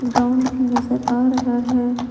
Ground भी नजर आ रहा है।